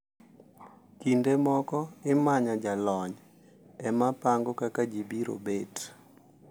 Kinde moko imanyo jalony ema pango kaka ji biro bet.